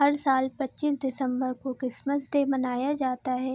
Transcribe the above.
हर साल पच्चीस दिसंबर को क्रिसमस डे मनाया जाता है।